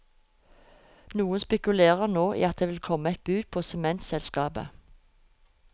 Noen spekulerer nå i at det vil komme et bud på sementselskapet.